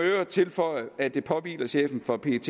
øvrigt tilføje at det påhviler chefen for pet